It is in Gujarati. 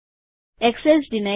access denied